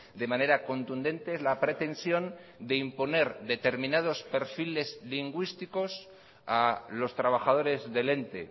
de manera contundente es la pretensión de imponer determinados perfiles lingüísticos a los trabajadores del ente